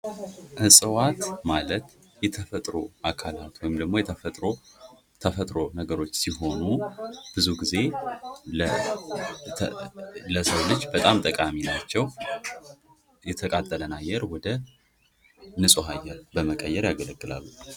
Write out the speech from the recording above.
እፅዋት ማለት የተፈጥሮ አኬላት ወይም ደግሞ ተፈጥሮ ነገሮች ሲሆኑ ብዙ ጊዜ ለሰዉ ልጅ በጣም ጠቃሚ ናቸዉ። የተቃጠለን አየር ወደ ንፁህ አየር በመቀየር ያገለግላሉ።